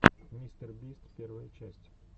мистер бист первая часть